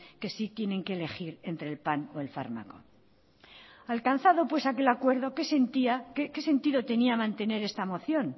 que sí tienen que elegir entre el pan o el fármaco alcanzado pues aquí el acuerdo qué sentido tenía mantener esta moción